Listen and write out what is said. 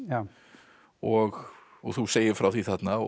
og og þú segir frá því þarna og